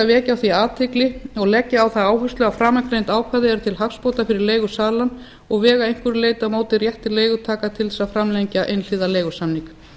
vekja á því athygli og legg ég á það áherslu að framangreind ákvæði eru til hagsbóta fyrir leigusala og vega að einhverju leyti á móti rétti leigutaka til að framlengja einhliða leigusamning